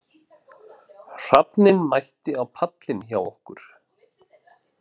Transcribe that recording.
Hrafninn mætti á pallinn hjá okkur